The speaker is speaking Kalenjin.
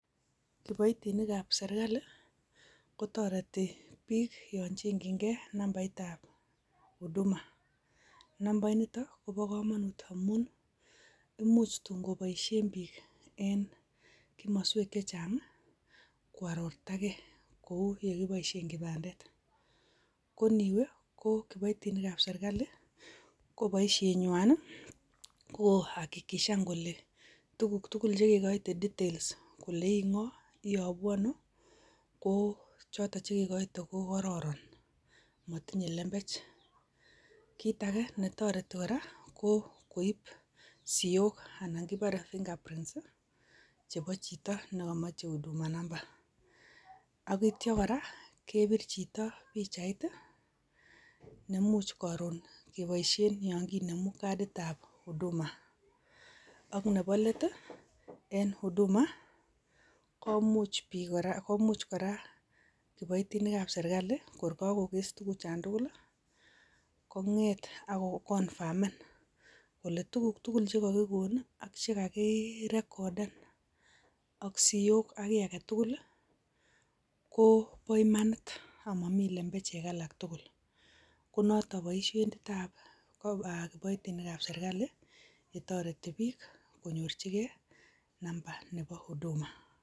Kiboitinikab sirkali, kotoreti biik yon cheng'yinge nambait ab huduma. Nambainito kobo komonut amun, imuch tun koboisien biik en, komoswel chechang', koarortage. Kou ye kiboisien kibandet. Koniwe, ko kiboitinikab sirkali, ko boisinywan ii, ko kohakikishan kole tuguk chekekoyte details kole ing'oo, iyobu ano, ko, chotok chekekoite ko kororon. Motinye lembech. Kiit age netoreti kora, ko koip siok anan kopore, fingerprints, chepo chito nekomoche huduma namba. Akityo kora kepir chito pichait, nemuch koron keboisien yon kinemu kaditab huduma. Ak nebo let ii, en huduma komuch kora kiboitinikab sirkali kokoges tuguchan tugul, kongete akoconfirmen kole tuguk tugul chekogigon ak chegakirecorden ak siok, ak kiii agetugul, ko bo imanit amomi lembechek agetugul. Ko notok boisiet ab kiboitinikab sirkali yetoret biik konyorchige, namba nebo huduma.